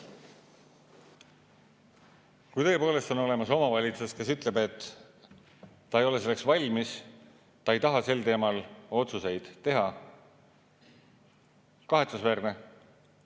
Kui tõepoolest on olemas omavalitsus, kes ütleb, et ta ei ole selleks valmis, ta ei taha sel teemal otsuseid teha – kahetsusväärne.